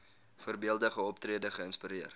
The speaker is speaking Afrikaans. voorbeeldige optrede geïnspireer